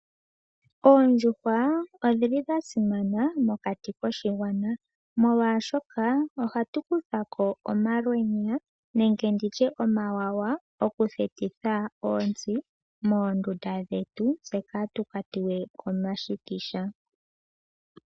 Oondjuhwa odhi li dha simana mokati koshigwana, molwashoka ohatu kutha ko omalwenya nenge nditye omawawa, okuthetitha oontsi moondunda dhetu, opo ka tu kwatiwe komashikisha.